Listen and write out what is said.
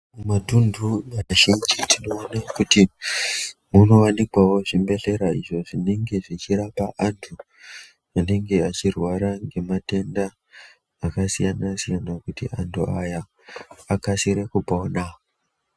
Mumatunhu mazhinji tinoone kuti munowanikwawo zvibhehlera izvo zvinenge zvichirapawo anhu anenge achirwara nematenda akasiyanasiyana kuti anhu aya aksire kupona.